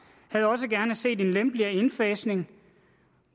havde også gerne set en lempeligere indfasning